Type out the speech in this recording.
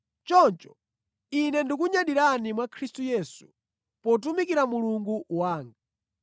Choncho, ine ndikunyadira mwa Khristu Yesu potumikira Mulungu wanga.